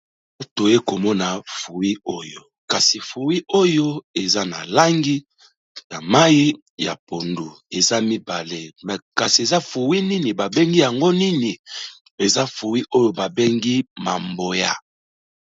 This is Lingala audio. Toye komona fruit oyo kasi fruit oyo eza na langi na mayi ya pondu, eza mibale me kasi eza fruit nini, ba bengi yango nini? eza fruit oyo ba bengi mamboya.